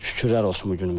Şükürlər olsun bu günümüzə.